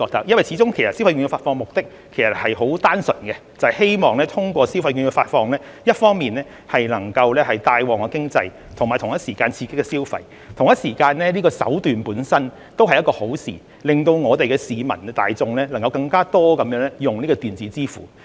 因為，始終消費券發放的目的很單純，就是希望通過消費券的發放，一方面能夠帶旺經濟，並同時刺激消費，而發放的手段本身也是一件好事，可以令市民大眾能夠更多利用電子支付。